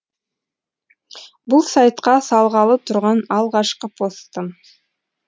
бұл сайтқа салғалы тұрған алғашқы постым